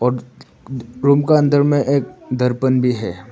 और रूम का अंदर में एक दर्पण भी है।